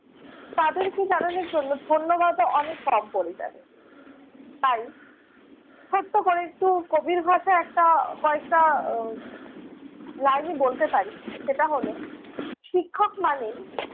তাঁদেরকে জানানোর জন্য ধন্যবাদও অনেক কম পড়ে যাবে। তাই ছোট্ট করে একটু কবির ভাষায় একটা কয়েকটা আহ line ই বলতে পারি। সেটা হলো- শিক্ষক মানে